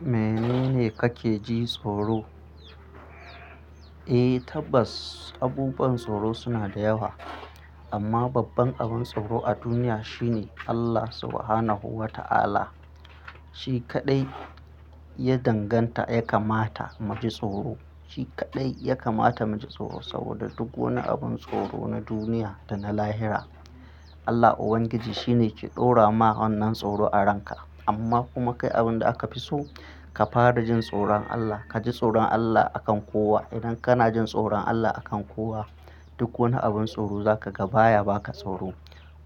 Menene kake jin tsoro? Eh tabbas abubuwan tsoro suna da yawa. Amma babban abin tsoro a duniya shine Allah Subhanahu wa Ta'ala. Shi kaɗai ya danganta ya kamata mu ji tsoro. Shi kaɗai ya kamata mu ji tsoro saboda duk wani abin tsoro na duniya da na lahira, Allah Ubangiji shine ke ɗora ma wannan tsoro a ranka. Amma kuma kai abin da aka fi so, ka fara jin tsoron Allah. Ka ji tsoron Allah akan kowa. Idan kana jin tsoron Allah akan kowa, duk wani abin tsoro za ka ga baya ba ka tsoro.